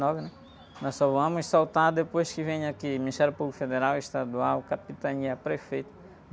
né? Nós só vamos soltar depois que vem aqui Ministério Público Federal, Estadual, Capitania, Prefeito.